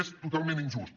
és totalment injust